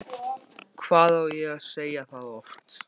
Hvað á ég að segja það oft?!